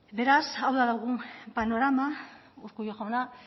beraz hau da dugun panorama urkullu jauna